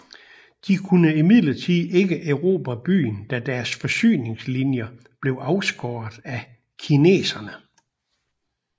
De kunne imidlertid ikke erobre byen da deres forsyningslinjer blev afskåret af kineserne